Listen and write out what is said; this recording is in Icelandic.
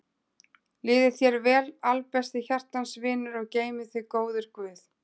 Líði þér vel albesti hjartans vinur og geymi þig góður guð.